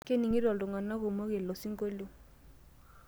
Keningito iltungana kumok ilo sinkolio.